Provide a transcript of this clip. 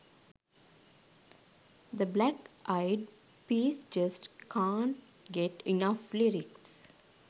the black eyed peas just cant get enough lyric